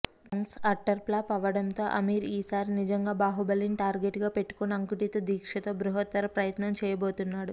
thugs utter flop అవడంతో అమీర్ ఈసారి నిజంగా బాహుబలిని టార్గెట్గా పెట్టుకుని అకుంటిత దీక్షతో బృహత్తర ప్రయత్నం చేయబోతున్నాడు